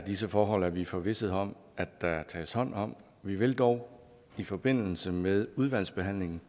disse forhold er vi forvisset om at der tages hånd om vi vil dog i forbindelse med udvalgsbehandlingen